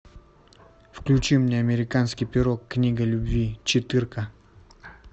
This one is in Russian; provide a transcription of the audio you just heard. включи мне американский пирог книга любви четырка